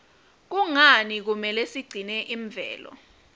kungani kumele sigcine imvelo